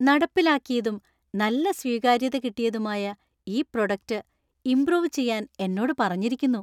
നടപ്പിലാക്കിയതും നല്ല സ്വീകാര്യത കിട്ടിയുതുമായ ഈ പ്രോഡക്റ്റ് ഇമ്പ്രൂവ് ചെയ്യാൻ എന്നോട് പറഞ്ഞിരിക്കുന്നു.